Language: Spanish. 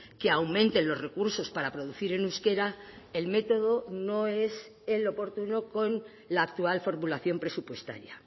que aumenten los recursos para producir en euskera el método no es el oportuno con la actual formulación presupuestaria